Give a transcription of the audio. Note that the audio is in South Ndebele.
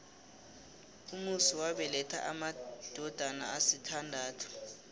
umusi wabeletha amadodana asithandathu